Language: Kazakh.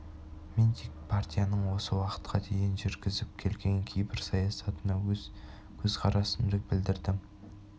мен тек партияның осы уақытқа дейін жүргізіп келген кейбір саясатына өз көзқарасымды білдірдім